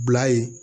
Bila ye